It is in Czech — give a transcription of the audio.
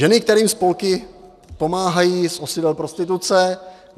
Ženy, kterým spolky pomáhají z osidel prostituce?